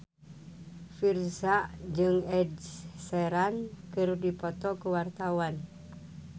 Virzha jeung Ed Sheeran keur dipoto ku wartawan